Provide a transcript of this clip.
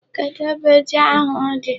Kedụ ebe ji ahụ dị?